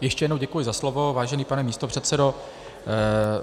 Ještě jednou děkuji za slovo, vážený pane místopředsedo.